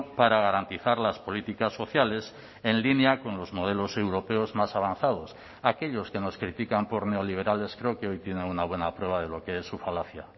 para garantizar las políticas sociales en línea con los modelos europeos más avanzados aquellos que nos critican por neoliberales creo que hoy tienen una buena prueba de lo que es su falacia